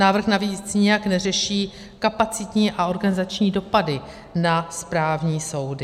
Návrh navíc nijak neřeší kapacitní a organizační dopady na správní soudy.